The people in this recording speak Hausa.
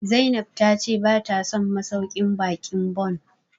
Zainab ta ce bata son masauƙin baƙin Bon